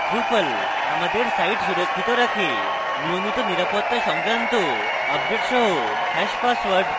drupal আমাদের site সুরক্ষিত রাখে নিয়মিত নিরাপত্তা সংক্রান্ত আপডেট সহ hash পাসওয়ার্ড